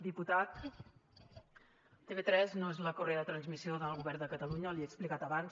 diputat tv3 no es la correa de transmissió del govern de catalunya li he explicat abans